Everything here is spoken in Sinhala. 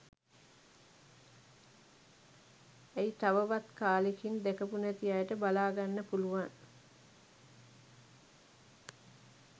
ඇයි තවවත් කාලෙකින් දැකපු නැති අයට බලාගන්න පුළුවන්